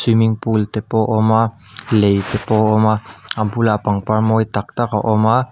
swimming pool te pawh a awm a lei te pawh a awm a a bulah pangpar mawi tak tak a awm a.